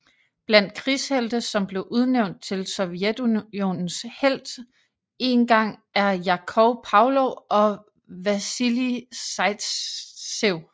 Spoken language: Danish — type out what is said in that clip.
Blandt krigshelte som blev udnævnt til Sovjetunionens Helt en gang er Jakov Pavlov og Vasilij Zajtsev